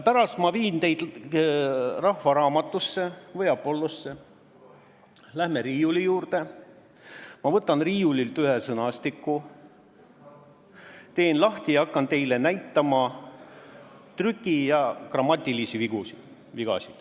Pärast ma viin teid Rahva Raamatusse või Apollosse, läheme riiuli juurde, ma võtan riiulilt ühe sõnastiku, teen lahti ja hakkan teile näitama trüki- ja grammatikavigu.